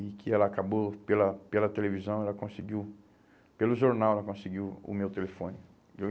E que ela acabou pela pela televisão, ela conseguiu, pelo jornal ela conseguiu o meu telefone.